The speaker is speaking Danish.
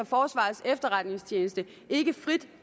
forsvarets efterretningstjeneste ikke frit